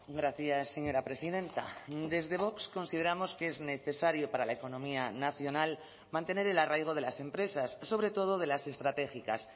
gracias señora presidenta desde vox consideramos que es necesario para la economía nacional mantener el arraigo de las empresas sobre todo de las estratégicas